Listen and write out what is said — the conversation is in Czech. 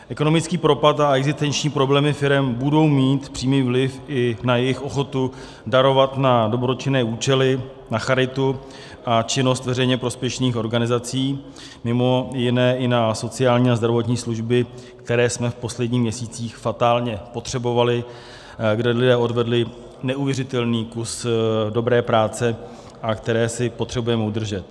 Ekonomický propad a existenční problémy firem budou mít přímý vliv i na jejich ochotu darovat na dobročinné účely, na charitu a činnost veřejně prospěšných organizací, mimo jiné i na sociální a zdravotní služby, které jsme v posledních měsících fatálně potřebovali, kde lidé odvedli neuvěřitelný kus dobré práce a které si potřebujeme udržet.